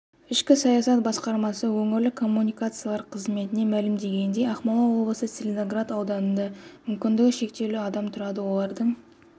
ішкі саясат басқармасы өңірлік коммуникациялар қызметінен мәлімдегендей ақмола облысы целиноград ауданында мүмкіндігі шектеулі адам тұрады олардың